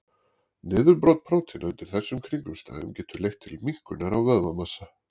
Niðurbrot prótína undir þessum kringumstæðum getur leitt til minnkunar á vöðvamassa.